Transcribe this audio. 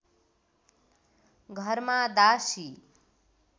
घरमा दासी